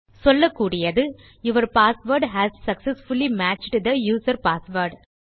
சொல்லக்கூடியது your password has successfully matched the user password